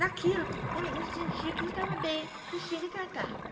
Naquilo, eu não não sentia que não estava bem, então tinha que tratar.